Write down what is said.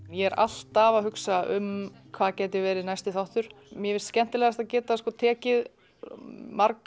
ég er alltaf að hugsa um hvað getur verið næsti þáttur mér finnst skemmtilegast að geta tekið